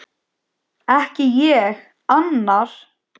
Ekki ég: annar.